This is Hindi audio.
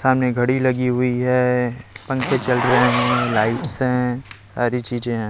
सामने घड़ी लगी हुई है पंखे चल रहे हैं लाइट्स हैं सारी चीजें हैं।